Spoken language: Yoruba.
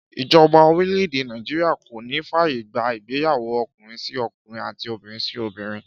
Ìjoba orílè̩-èdè Nàìjíríà kò ní fàyè gbà ìgbéyàwó o̩kùnrin-sí-o̩kùnrin àti obìnrin-sí-obìnrin